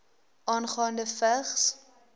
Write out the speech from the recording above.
aangaande vigs